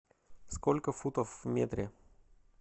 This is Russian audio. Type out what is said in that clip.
сколько футов в метре